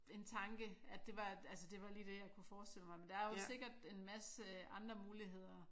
En tanke at det var altså det var lige det jeg kunne forestille mig men der er jo sikkert en masse andre muligheder